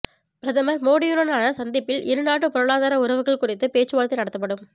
பிரதமர் மோடியுடனான சந்திப்பில் இருநாட்டு பொருளாதார உறவுகள் குறித்து பேச்சுவார்த்தை நடத்தப்படும்